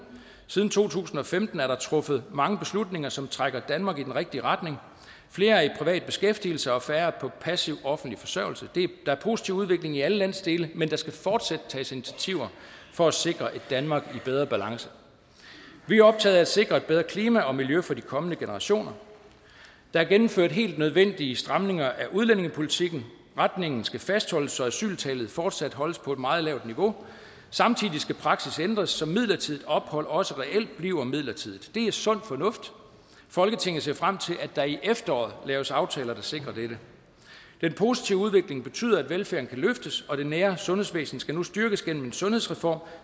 siden to tusind og femten er der truffet mange beslutninger som trækker danmark i den rigtige retning flere er i privat beskæftigelse og færre er på passiv offentlig forsørgelse der er positiv udvikling i alle landsdele men der skal fortsat tages initiativer for at sikre et danmark i bedre balance vi er optaget af at sikre et bedre klima og miljø for de kommende generationer der er gennemført helt nødvendige stramninger af udlændingepolitikken retningen skal fastholdes så asyltallet fortsat holdes på et meget lavt niveau samtidig skal praksis ændres så midlertidigt ophold også reelt bliver midlertidigt det er sund fornuft folketinget ser frem til at der i efteråret laves aftaler der sikrer dette den positive udvikling betyder at velfærden kan løftes og det nære sundhedsvæsen skal nu styrkes gennem en sundhedsreform